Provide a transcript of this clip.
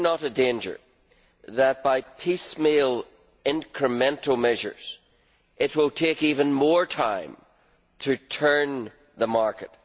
Is there not a danger that, by piecemeal incremental measures, it will take even more time to turn the market?